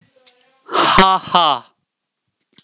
Ha, ha!